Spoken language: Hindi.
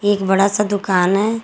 एक बड़ा सा दुकान है।